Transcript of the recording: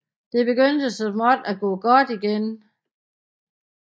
Det begyndte så småt at gå godt igen